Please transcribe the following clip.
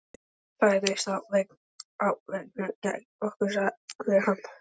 Fræðirit á veggnum gegnt okkur sagði hann.